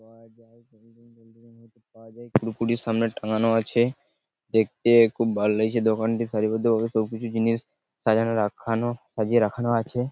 কুড়কুড়ি সামনে টাঙানো আছে দেখতে খুব ভালো লাগছে দোকানটি সারিবদ্ধ ভাবে সব জিনিস সাজানো রাখানো সাজিয়ে রাখানো আছে।